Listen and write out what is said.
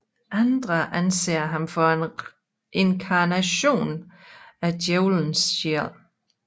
Andre anser ham for en inkarnation af Djævelen selv